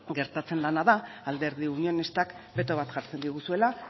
gertatzen dena da alderdi unionistak beto bat jartzen diguzuela